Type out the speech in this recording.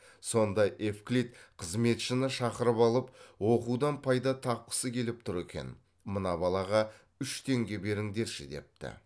сонда евклид қызметшіні шақырып алып оқудан пайда тапқысы келіп тұр екен мына балаға үш теңге беріңдерші депті